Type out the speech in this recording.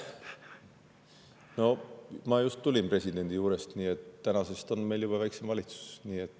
No ma just tulin presidendi juures, nii et tänasest on meil väiksem valitsus.